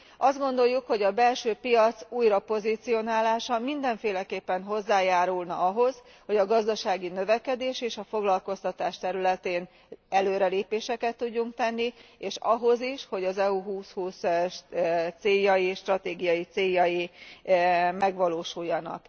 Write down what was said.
Azt gondoljuk, hogy a belső piac újrapozícionálása mindenféleképpen hozzájárulna ahhoz, hogy a gazdasági növekedés és a foglalkoztatás területén előrelépéseket tudjunk tenni, és ahhoz is, hogy az EU 2020 stratégiai céljai megvalósuljanak.